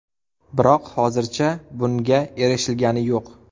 Biroq hozircha bunga erishilgani yo‘q.